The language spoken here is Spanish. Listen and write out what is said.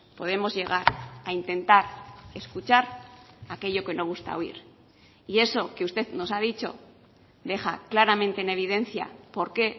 podemos llegar a intentar escuchar aquello que no gusta oír y eso que usted nos ha dicho deja claramente en evidencia por qué